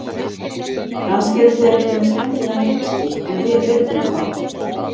Kannski eru þeir ekki með skemmtilegan leikstíl en við virðum þá.